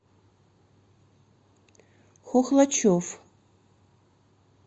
хохлачев